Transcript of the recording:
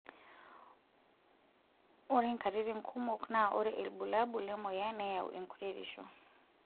Ore nkaititn kumok naa ore ilbulabul lemoyian neyau enkuretisho.